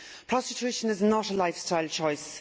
Prostitution is not a lifestyle choice.